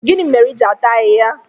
Gịnị ịhe iji atara ahịhịa?